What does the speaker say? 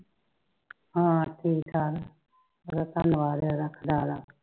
ਹਾਂ ਠੀਕ ਠਾਕ ਆ ਧੰਨਵਾਦ ਇਹਦਾ ਭਰਦਾ